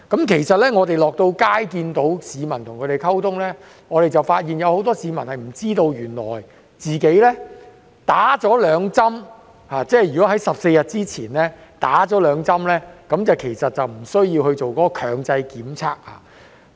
其實，當我們落區與市民溝通時，發現有很多市民都不知道，如他們在14天前已接種兩劑疫苗，便不需要進行強制檢測。